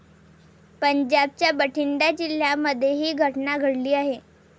पंजाबच्या बठिंडा जिल्ह्यामध्ये ही घटना घडली आहे.